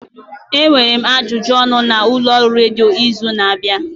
Enwere m ajụjụ ọnụ na ụlọọrụ redio n'izu na-abịa.